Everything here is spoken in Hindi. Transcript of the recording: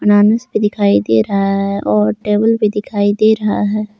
अनानास भी दिखाई दे रहा है और टेबल भी दिखाई दे रहा है।